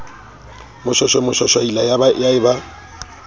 moshweshwe moshwashwaila ya e ba